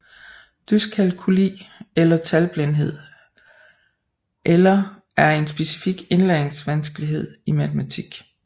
Dyskalkuli eller talblindhed eller er en specifik indlæringsvanskelighed i matematik